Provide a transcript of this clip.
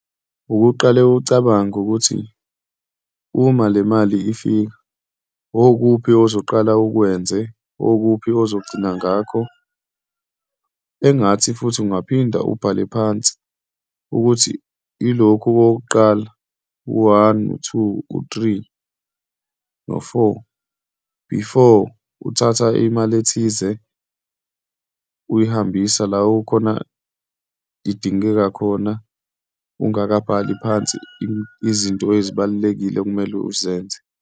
Ukuqale ucabange ukuthi uma le mali ifika, wokuphi ozoqala ukwenze, wokuphi ozogcina ngakho, engathi futhi ungaphinda ubhale phansi ukuthi ilokhu okokuqala, u-one, u-two, u-three, no-four, before uthatha imali ethize uyihambisa la ukhona idingeka khona ungakabhali phansi izinto ezibalulekile okumele uzenze.